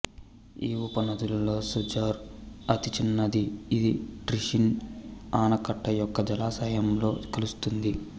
ఈ ఉపనదులలో సజుర్ అతి చిన్నదిఇది టిష్రిన్ ఆనకట్ట యొక్క జలాశయంలో కలుస్తుంది